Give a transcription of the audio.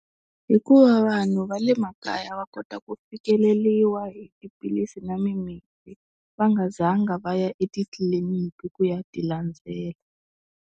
Hikuva vanhu va le makaya va kota ku fikeleriwa hi tiphilisi na mimirhi va nga zanga va ya etitliliniki ku ya ti landzela.